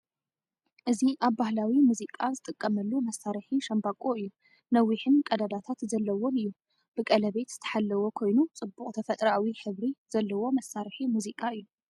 እዚ ኣብ ባህላዊ ሙዚቃ ዝጥቀመሉ መሳርሒ ሻምበቆ እዩ። ነዊሕን ቀዳዳት ዘለዎን እዩ። ብቀለቤት ዝተሓለወ ኮይኑ ጽቡቕ ተፈጥሮኣዊ ሕብሪ ዘለዎ መሳርሒ ሙዚቃ እዩ።